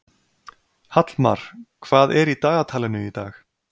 Hallmar, hvað er í dagatalinu í dag?